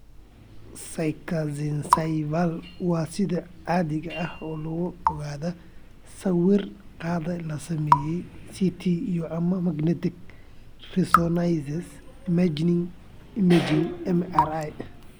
Schizencephaly waxaa sida caadiga ah lagu ogaadaa sawir qaade la sameeyay (CT) iyo/ama magnetic resonance imaging (MRI).